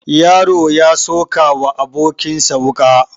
Yaro ya sokawa abokin sa wuka